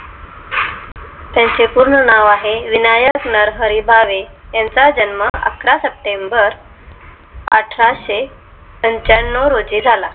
त्यांचे पूर्ण नाव आहे विनायक नरहरी भावे यांचा जन्म अकरा सप्टेंबर अठराशेपंचनाव रोजी झाला